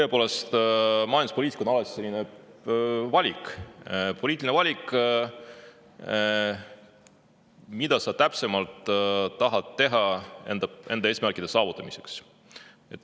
Tõepoolest, majanduspoliitika on alati valik, see on poliitiline valik, et mida sa täpsemalt tahad teha enda eesmärkide saavutamiseks.